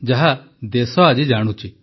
ଯାହା ଦେଶ ଆଜି ଜାଣୁଛି